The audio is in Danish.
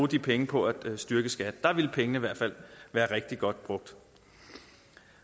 de penge på at styrke skat der ville pengene i hvert fald være rigtig godt brugt